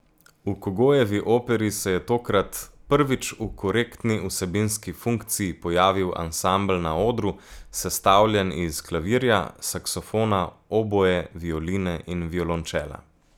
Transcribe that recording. V Kogojevi operi se je tokrat prvič v korektni vsebinski funkciji pojavil ansambel na odru, sestavljen iz klavirja, saksofona, oboe, violine in violončela.